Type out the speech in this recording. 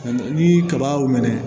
Ni kaba y'o minɛ